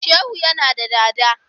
Shehu yana da dada.